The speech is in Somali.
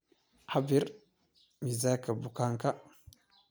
Cabiir Miisaanka bukaanka